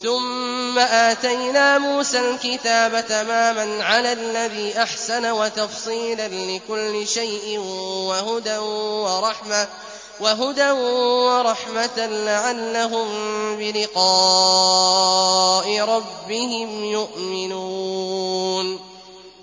ثُمَّ آتَيْنَا مُوسَى الْكِتَابَ تَمَامًا عَلَى الَّذِي أَحْسَنَ وَتَفْصِيلًا لِّكُلِّ شَيْءٍ وَهُدًى وَرَحْمَةً لَّعَلَّهُم بِلِقَاءِ رَبِّهِمْ يُؤْمِنُونَ